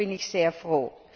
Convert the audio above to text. Darüber bin ich sehr froh.